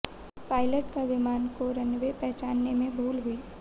pilot को विमान का रनवे पहचानने में भूल हुई